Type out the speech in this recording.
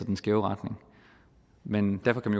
en skæv retning men derfor kan